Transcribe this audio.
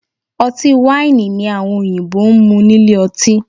Ọtí wáìnì ni àwọn òyìnbó ń mú nílé ọtí